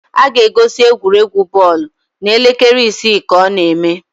A ga-egosi egwuregwu bọọlụ n'elekere isii ka ọ na eme